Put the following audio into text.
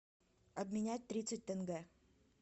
обменять тридцать тенге